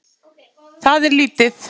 Það er lítið